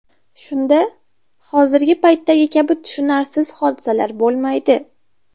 Shunda hozirgi paytdagi kabi tushunarsiz hodisalar bo‘lmaydi.